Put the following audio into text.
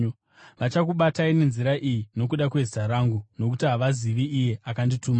Vachakubatai nenzira iyi nokuda kwezita rangu, nokuti havazivi Iye akandituma.